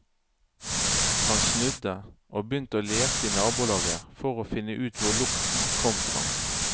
Han snudde og begynte å lete i nabolaget for å finne ut hvor lukten kom fra.